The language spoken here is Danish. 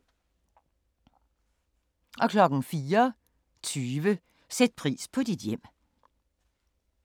04:20: Sæt pris på dit hjem